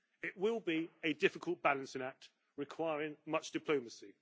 It will be a difficult balancing act requiring much diplomacy.